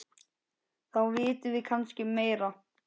Þá vitum við kannski meira.